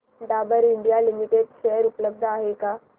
Dabur India limited share उपलब्ध आहेत का